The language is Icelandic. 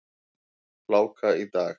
Hláka í dag.